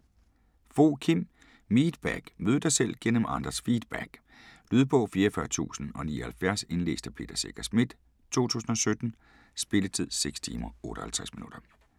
Fogh, Kim: Meetback: mød dig selv gennem andres feedback Lydbog 44079 Indlæst af Peter Secher Schmidt, 2017. Spilletid: 6 timer, 58 minutter.